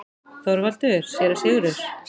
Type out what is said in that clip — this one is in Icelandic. ÞORVALDUR: Séra Sigurður!